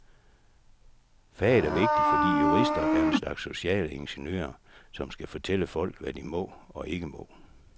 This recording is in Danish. Faget er vigtigt, fordi jurister er en slags sociale ingeniører, som skal fortælle folk, hvad de må og ikke må.